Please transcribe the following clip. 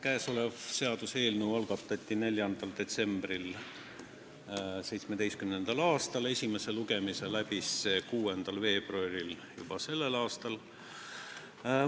Käesolev seaduseelnõu algatati 4. detsembril 2017. aastal, esimese lugemise tegi see läbi juba selle aasta 6. veebruaril.